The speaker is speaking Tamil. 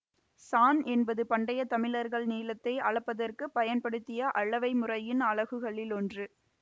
சாண் என்பது பண்டையத் தமிழர்கள் நீளத்தை அளப்பதற்கு பயன்படுத்திய அளவை முறையின் அலகுகளில் ஒன்று